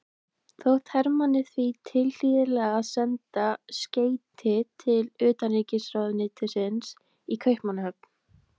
Þótti Hermanni því tilhlýðilegt að senda skeyti til utanríkisráðuneytisins í Kaupmannahöfn.